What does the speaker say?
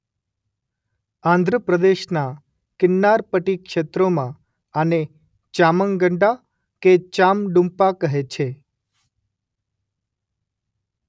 આંધ્રપ્રદેશના કિનાર પટી ક્ષેત્રોમાં આને ચામંગડ્ડા કે ચામ ડુમ્પા કહે છે.